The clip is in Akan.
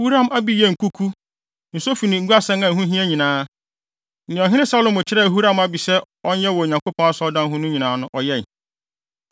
Huram-Abi yɛɛ nkuku, nsofi ne guasɛn a ɛho hia nyinaa. Nea ɔhene Salomo kyerɛɛ Huram-Abi sɛ ɔnyɛ wɔ Onyankopɔn Asɔredan no ho no nyinaa no, ɔyɛe.